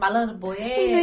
Malandro